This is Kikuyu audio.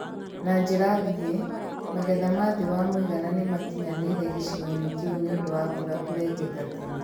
Na njĩra nguhĩ, magetha ma thĩ wa mũigana nĩmakinyanĩire gĩcigo-inĩ kĩu nĩũndũ wa mbura kũrengeka tene